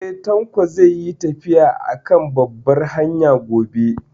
Eh, Tanko zai yi tafiya a kan babbar hanya gobe